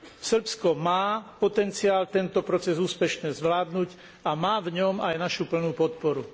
Srbsko má potenciál tento proces úspešne zvládnuť a má v ňom aj našu plnú podporu.